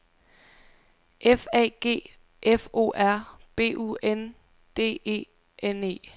F A G F O R B U N D E N E